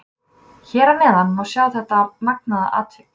Hér að neðan má sjá þetta magnaða atvik.